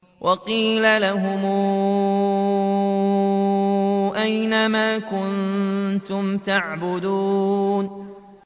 وَقِيلَ لَهُمْ أَيْنَ مَا كُنتُمْ تَعْبُدُونَ